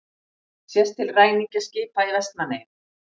Sést til ræningjaskipa í Vestmannaeyjum.